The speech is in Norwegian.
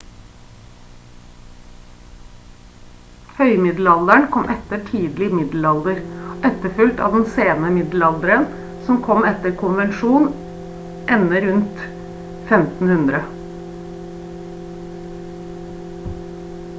høymiddelalderen kom etter tidlig middelalder og etterfulgt av den sene middelalderen som etter konvensjon ender rundt 1500